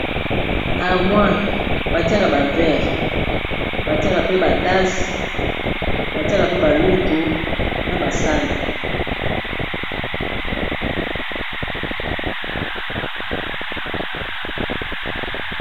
armoire batiaka ba vere batiaka mpe batase batiaka mpe balutu na basani